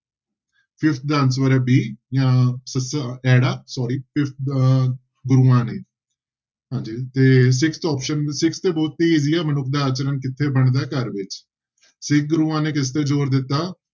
Fifth ਦਾ answer ਹੈ b ਅਹ ਸੱਸਾ ਐੜਾ sorry ਫਿਫ~ ਅਹ ਦੋਹਾਂ ਨੇ ਹਾਂਜੀ ਤੇ sixth option, sixth ਤੇ ਬਹੁਤ ਹੀ easy ਆ, ਮਨੁੱਖ ਦਾ ਆਚਰਣ ਕਿੱਥੇ ਬਣਦਾ ਹੈ ਘਰ ਵਿੱਚ, ਸਿੱਖ ਗੁਰੂਆਂ ਨੇ ਕਿਸ ਤੇ ਜ਼ੋਰ ਦਿੱਤਾ।